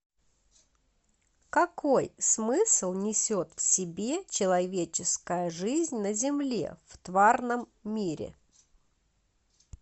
какой смысл несет в себе человеческая жизнь на земле в тварном мире